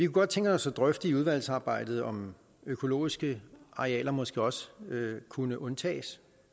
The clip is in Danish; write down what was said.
godt tænke os at drøfte i udvalgsarbejdet om økologiske arealer måske også kunne undtages